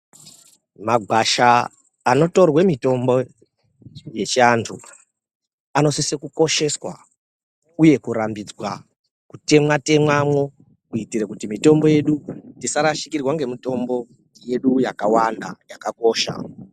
Magwasha anotorwe mitombo yechiantu, anosise kukosheswa uye kurambidzwa kutemwa temwamwo, kuitire kuti mitombo yedu tisarashikirwa ngemitombo yedu yakawanda, yakakosha.